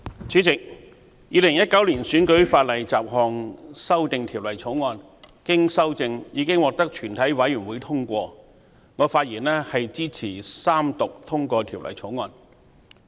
主席，《2019年選舉法例條例草案》經修正已獲全體委員會通過，我發言支持三讀通過《條例草案》。